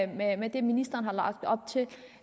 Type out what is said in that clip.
med med det ministeren har lagt op til